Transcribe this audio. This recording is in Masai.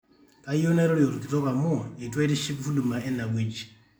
kayieu nairorie olkitok amu eitu aitiship huduma ene wueji